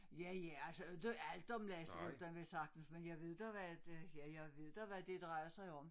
Ja ja altså inte alt om lakseruten vel saatens men jeg ved da hvad det ja jeg ved da hvad det drejer sig om